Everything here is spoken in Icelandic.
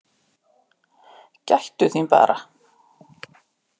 Gættu þín bara!